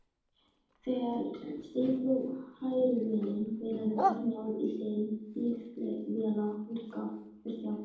Þegar steypuhrærivélin bilaði var náð í Hlyn bifvélavirkja.